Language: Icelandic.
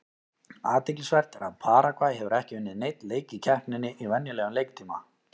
Athyglisvert er að Paragvæ hefur ekki unnið neinn leik í keppninni í venjulegum leiktíma.